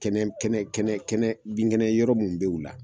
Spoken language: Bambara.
Kɛnɛ kɛnɛ kɛnɛ kɛnɛ bin kɛnɛ yɔrɔ minnu bɛ u la